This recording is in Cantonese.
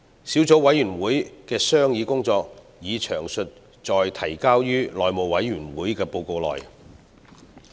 小組委員會的商議工作已詳載於提交內務委員會的報告內。